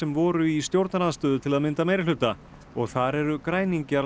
voru í stjórnarandstöðu til að mynda meirihluta og þar eru græningjar